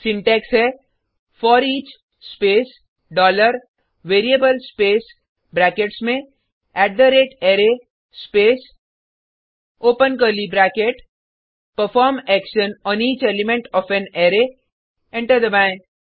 syntax है foreach space dollar variable space brackets में at the rate array space open curly bracket perform action on each element of an array enter दबाएँ